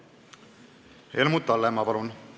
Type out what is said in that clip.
Helmut Hallemaa, palun!